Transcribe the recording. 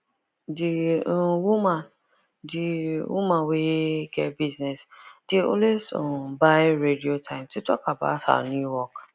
d um woman d um woman wey get business dey always um buy radio time to talk about her new work